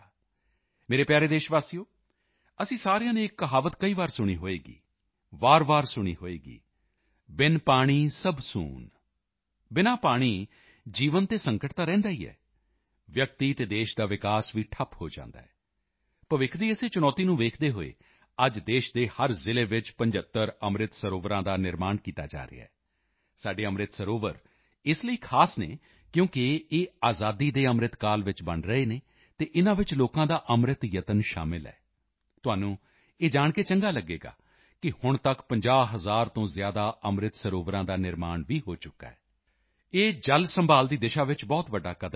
ਮੇਰੇ ਪਿਆਰੇ ਦੇਸ਼ਵਾਸੀਓ ਅਸੀਂ ਸਾਰਿਆਂ ਨੇ ਇੱਕ ਕਹਾਵਤ ਕਈ ਵਾਰ ਸੁਣੀ ਹੋਵੇਗੀ ਵਾਰਵਾਰ ਸੁਣੀ ਹੋਵੇਗੀ ਬਿਨ ਪਾਣੀ ਸਭ ਸੂਨ ਬਿਨਾ ਪਾਣੀ ਜੀਵਨ ਤੇ ਸੰਕਟ ਤਾਂ ਰਹਿੰਦਾ ਹੀ ਹੈ ਵਿਅਕਤੀ ਅਤੇ ਦੇਸ਼ ਦਾ ਵਿਕਾਸ ਵੀ ਠੱਪ ਹੋ ਜਾਂਦਾ ਹੈ ਭਵਿੱਖ ਦੀ ਇਸੇ ਚੁਣੌਤੀ ਨੂੰ ਵੇਖਦੇ ਹੋਏ ਅੱਜ ਦੇਸ਼ ਦੇ ਹਰ ਜ਼ਿਲ੍ਹੇ ਵਿੱਚ 75 ਅੰਮ੍ਰਿਤ ਸਰੋਵਰਾਂ ਦਾ ਨਿਰਮਾਣ ਕੀਤਾ ਜਾ ਰਿਹਾ ਹੈ ਸਾਡੇ ਅੰਮ੍ਰਿਤ ਸਰੋਵਰ ਇਸ ਲਈ ਖਾਸ ਹਨ ਕਿਉਂਕਿ ਇਹ ਆਜ਼ਾਦੀ ਕੇ ਅੰਮ੍ਰਿਤਕਾਲ ਵਿੱਚ ਬਣ ਰਹੇ ਹਨ ਅਤੇ ਇਨ੍ਹਾਂ ਵਿੱਚ ਲੋਕਾਂ ਦਾ ਅੰਮ੍ਰਿਤ ਯਤਨ ਸ਼ਾਮਲ ਹੈ ਤੁਹਾਨੂੰ ਇਹ ਜਾਣ ਕੇ ਚੰਗਾ ਲਗੇਗਾ ਕਿ ਹੁਣ ਤੱਕ 50 ਹਜ਼ਾਰ ਤੋਂ ਜ਼ਿਆਦਾ ਅੰਮ੍ਰਿਤ ਸਰੋਵਰਾਂ ਦਾ ਨਿਰਮਾਣ ਵੀ ਹੋ ਚੁੱਕਾ ਹੈ ਇਹ ਜਲ ਸੰਭਾਲ਼ ਦੀ ਦਿਸ਼ਾ ਵਿੱਚ ਬਹੁਤ ਵੱਡਾ ਕਦਮ ਹੈ